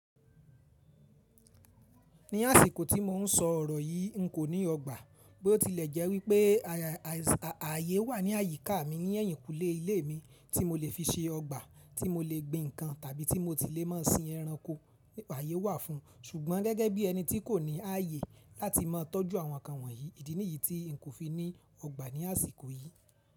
Ní àsìkò tí mò ń sọ ọ̀rọ̀ yìí, n kò ní ọgbà. Bí ó tilẹ̀ jẹ́ wípé ààyè wà ní àyíká mi ní ẹ̀yìnkùlé ilé mi tí mo lè fi ṣe ọgbà tí mo lè gbin ǹkan tàbí tí mo tile mọ sin ẹranko. Ààyè wà fún un ṣùgbọ́n gẹ́gẹ́ bí ẹni tí kò ní ààyè láti máa tọ́jú àwọn ǹkan wọ̀nyí, ìdí nìyí tí n kò fi ní ọgbà ní àsìkò yìí.